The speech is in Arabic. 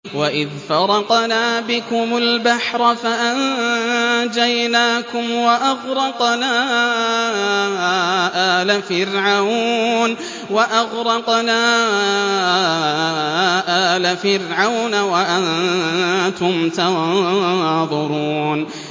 وَإِذْ فَرَقْنَا بِكُمُ الْبَحْرَ فَأَنجَيْنَاكُمْ وَأَغْرَقْنَا آلَ فِرْعَوْنَ وَأَنتُمْ تَنظُرُونَ